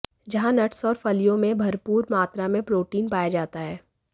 जहां नट्स और फलियों में भरपूर मात्रा में प्रोटीन पाया जाता है